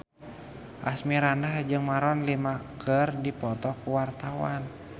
Asmirandah jeung Maroon 5 keur dipoto ku wartawan